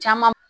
Caman